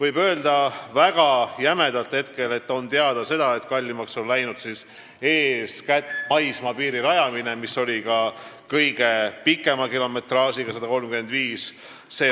Praeguste andmete põhjal võib öelda väga jämedalt, et kallimaks läheks eeskätt maismaapiiri rajamine, mis oli ka kõige pikema kilometraažiga, 135.